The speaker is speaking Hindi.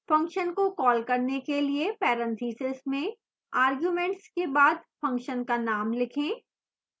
function को call करने के लिए parentheses में arguments के बाद function का name लिखें